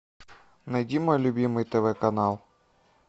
найди мой любимый тв канал